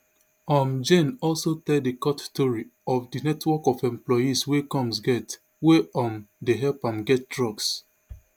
um jane also tell di court tori of di network of employees wey combs get wey um dey help am get drugs